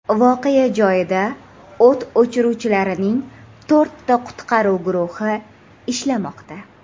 Voqea joyida o‘t o‘chiruvchilarning to‘rtta qutqaruv guruhi ishlamoqda.